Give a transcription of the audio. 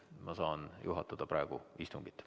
Ma saan juhatada praegu istungit.